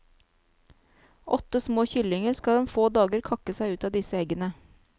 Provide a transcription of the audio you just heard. Åtte små kyllinger skal om få dager kakke seg ut av disse eggene.